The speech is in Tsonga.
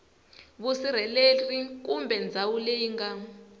vusirheleri kumbe ndhawu leyi nga